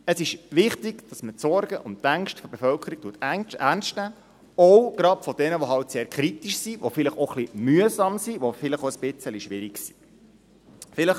Es ist wichtig, dass man die Sorgen und Ängste der Bevölkerung ernst nimmt, auch gerade von jenen, die sehr kritisch sind, die vielleicht auch etwas mühsam, vielleicht auch etwas schwierig sind.